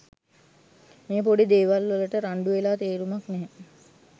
මේ පොඩි දේවල් වලට රණ්ඩු වෙලා තේරුමක් නැහැ